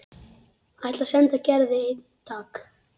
Ætlar að senda Gerði eintak.